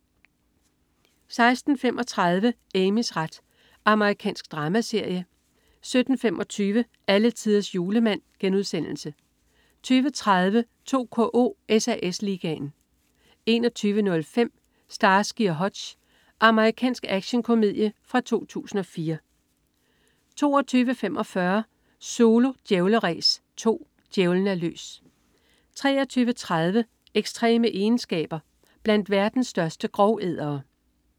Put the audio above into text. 16.35 Amys ret. Amerikansk dramaserie 17.25 Alletiders Julemand* 20.30 2KO: SAS Ligaen 21.05 Starsky & Hutch. Amerikansk actionkomedie fra 2004 22.45 Zulu Djævleræs 2. Djævlen er løs 23.30 Ekstreme egenskaber. Blandt verdens største grovædere